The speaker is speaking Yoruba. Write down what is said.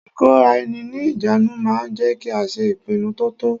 Ìkóraẹni ní ìjánu ma ń jẹ́ kí a ṣe ìpinnu to tọ́.